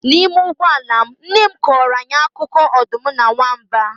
N'ime ụgbọ ala m, nne m kọọrọ anyị akụkọ ọdụm na nwamba